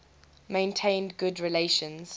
maintained good relations